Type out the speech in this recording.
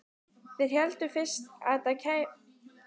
Þeir héldu fyrst að þetta væri kannski